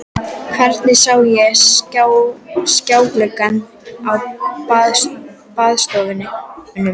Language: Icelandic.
Hvergi sá ég skjáglugga á baðstofum.